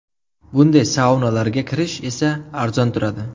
Bunday saunalarga kirish esa arzon turadi.